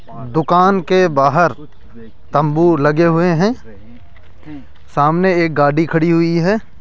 दुकान के बाहर तंबू लगे हुए हैं सामने एक गाड़ी खड़ी हुई है।